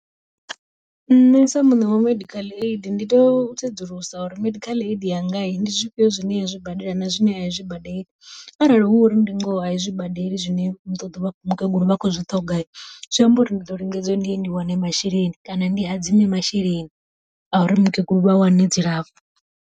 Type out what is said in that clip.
Nṋe sa muṋe wa medical aid ndi to sedzulusa uri medical aid yanga ndi zwifhio zwine yo zwi badela na zwine aizwi badeli, arali hu uri ndi ngoho aizwi badeli zwine muṱoḓo vha khou mukegulu vha khou zwi ṱhoga, zwi amba uri ndi ḓo lingedza ndiye ndi wane masheleni kana ndi hadzime masheleni a uri mukegulu vha wane dzilafho.